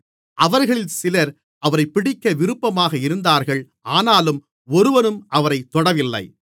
அவர்களில் சிலர் அவரைப் பிடிக்க விருப்பமாக இருந்தார்கள் ஆனாலும் ஒருவனும் அவரைத் தொடவில்லை